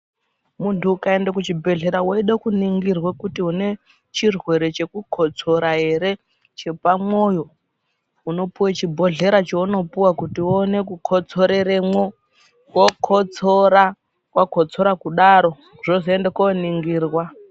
Muntu ukaende kuchibhedhlera weide kuningirwa kuti une chirwere chokukosora here chepamwoyo unopuwe chibhodhlera chaunopuwa kuti uone kukotsoreremwo woone kukotsora, wakotsora kudaro zvozoende koningirwa.